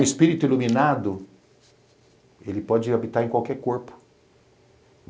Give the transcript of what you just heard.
O Espírito iluminado pode habitar em qualquer corpo.